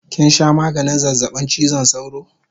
Kinsha maganin zazzabin chizon sauro?